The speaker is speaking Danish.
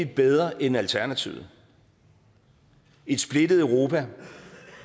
bedre end alternativet et splittet europa